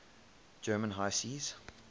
german high seas